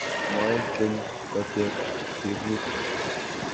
Moekeny koteb tebutik